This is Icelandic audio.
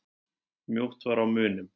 Mjótt var á munum.